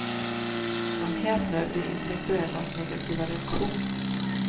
Han häpnar över de intellektuellas negativa reaktion.